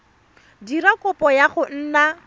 dira kopo ya go nna